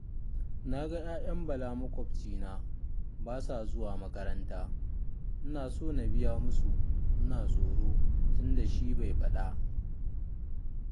Na ga 'ya'yan Bala maƙwabcina ba sa zuwa makaranta, ina so na biya musu, ina tsoro tunda shi bai faɗa